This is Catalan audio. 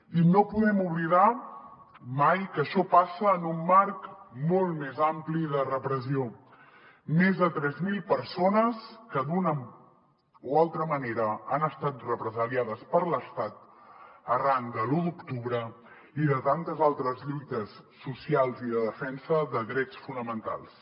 i no podem oblidar mai que això passa en un marc molt més ampli de repressió més de tres mil persones que d’una o altra manera han estat represaliades per l’estat arran de l’u d’octubre i de tantes altres lluites socials i de defensa de drets fonamentals